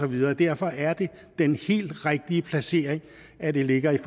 og derfor er det den helt rigtige placering at det ligger i